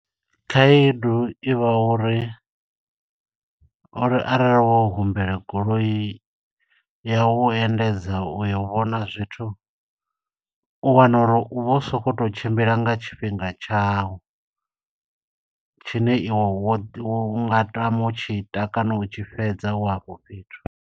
Khaedu ivha uri, uri arali wo humbela goloi ya u endedza uyo u vhona zwithu, u wana uri u vho u sokou to u tshimbila nga tshifhinga tshawu. Tshine iwe wo, iwe u nga tama u tshi ita kana u tshi fhedza u hafho fhethu.